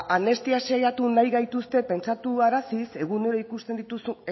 ba anestesiatu nahi gaituzte pentsatuaraziz